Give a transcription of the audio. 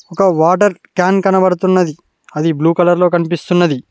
ఒక water can కనపడుతున్నది అది బ్లూ కలర్ లో కనిపిస్తున్నది.